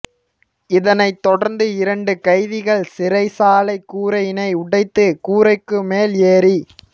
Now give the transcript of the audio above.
இதனை தொடர்ந்து இரண்டு கைதிகள் சிறைச்சாலை கூரையினை உடைத்து கூரைக்கு மேல் ஏறி